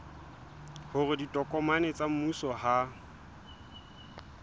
hore ditokomane tsa mmuso ha